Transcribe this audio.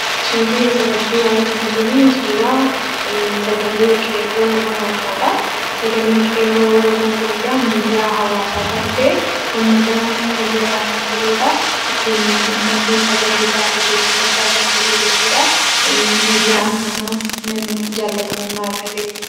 Suurri asirratti argamu kuni suuraa Sagalee Qeerroo Oromoodha. Sagaleen Qeerroo Oromoo kun egaa Miidiyaa Hawaasaa kan ta'e, uummata fayyadaa kan turedha. Ittiin uummati sagalee isaa dhageessifachaa kan ture jechuudha. Miidiyaa nama, namni jaallatamummaa argatedha.